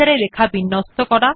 writer এ লেখা বিন্যস্ত করা